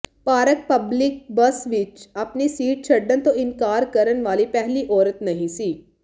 park public bus ਵਿਚ ਆਪਣੀ seat ਛੱਡਣ ਤੋਂ ਇਨਕਾਰ ਕਰਨ ਵਾਲੀ ਪਹਿਲੀ ਔਰਤ ਨਹੀਂ ਸੀ